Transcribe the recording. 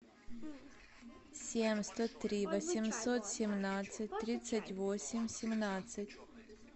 семь сто три восемьсот семнадцать тридцать восемь семнадцать